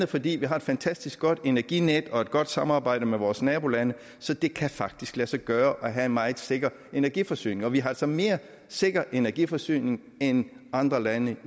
fordi vi har et fantastisk godt energinet og et godt samarbejde med vores nabolande så det kan faktisk lade sig gøre at have en meget sikker energiforsyning og vi har altså mere sikker energiforsyning end andre lande